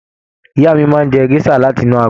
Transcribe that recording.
Ìyá máa n jẹ gèsà láti inú agolo.